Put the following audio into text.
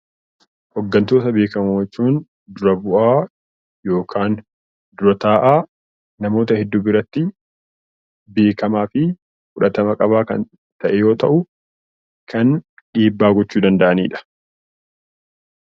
Hoggantoota beekamoo jechuun dhra bu'aa yookaan dura taa'aa namoota hedduu biratti beekamaa fi fudhatama qabu yoo ta'u, kan dhiibbaa gochuu danda’anidha.